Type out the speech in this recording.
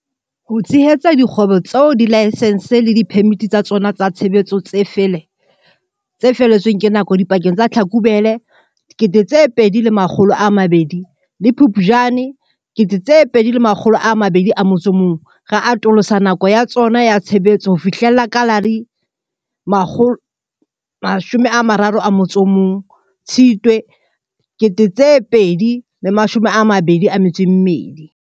Ho tshehetsa dikgwebo tseo dilaesense le diphemiti tsa tsona tsa tshebetso tse fele tsweng ke nako dipakeng tsa Tlhakubele 2020 le Phuptjane 2021, re atolosa nako ya tsona ya tshebetso ho fihlela ka la 31 Tshitwe 2022.